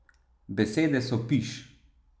Besede so piš.